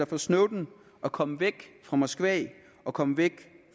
for snowden at komme væk fra moskva og komme væk